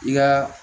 I ka